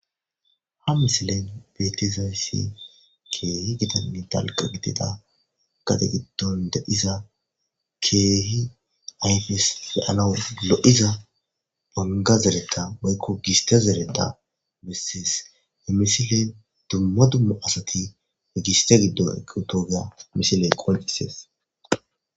Ha misilen betizayssi keehi gidanni talqa gidida gate giddon dediza keehi ayfes fealou lo'iza bonga zereta waykko gista zereta misees e misiley dumma dummu asati migiste giddo equtoogea misiley qolqisees.